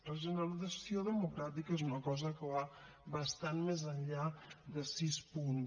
regeneració democràtica és una cosa que va bastant més enllà de sis punts